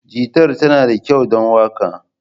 Gitar tana da kyau don waka?